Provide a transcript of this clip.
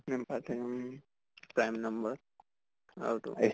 উম prime number আৰু তোৰ